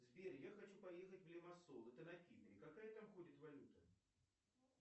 сбер я хочу поехать в лимассол это на кипре какая там ходит валюта